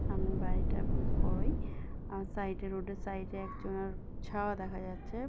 সামনে বাড়িটা বেশ বড়োই আর সাইড এ রোড এর সাইড এ একজনার ছাওয়া দেখা যাচ্ছে --